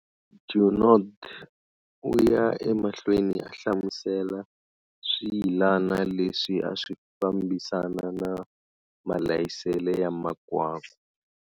Junod, u ya emahlweni a hlamusela swiyilana leswi a swi fambisana na malayisele ya makwakwa.